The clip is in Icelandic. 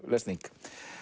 lesning